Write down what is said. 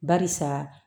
Barisa